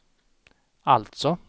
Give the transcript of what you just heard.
alltså